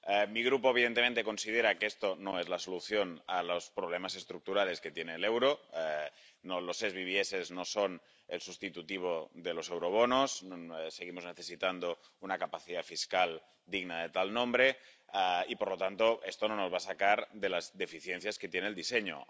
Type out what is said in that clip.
Mi grupo, evidentemente, considera que esto no es la solución a los problemas estructurales que tiene el euro. Los BTDS no son el sustitutivo de los eurobonos y seguimos necesitando una capacidad fiscal digna de tal nombre, por lo que esto no nos va a sacar de las deficiencias que tiene el diseño.